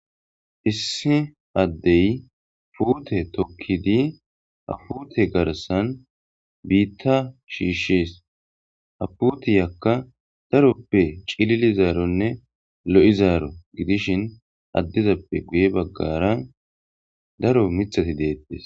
Issi addey puute tokkidi apute garsan biitta shiishshees aputi yakka daroppe cilili zaaronne lo7i zaaro gidishin addizappe guye baggara daro mithati deettes.